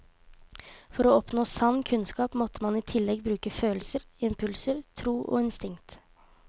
For å oppnå sann kunnskap måtte man i tillegg bruke følelser, impulser, tro og instinkt.